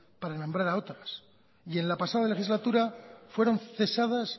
para nombrar a otras y en la pasada legislatura fueron cesadas